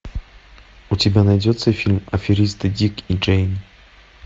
у тебя найдется фильм аферисты дик и джейн